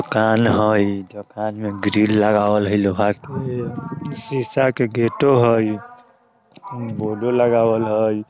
दुकान हई दोकान में ग्रिल लगावल हय लोहा के शीशा के गेटो हई बोर्डो लगावल हय।